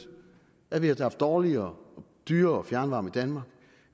at vi havde haft dårligere og dyrere fjernvarme i danmark